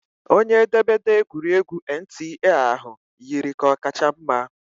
Onye edemede egwuregwu NTA ahụ yiri ka ọ kacha mma